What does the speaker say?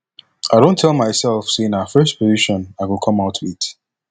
i don tell myself say na first position i go come out with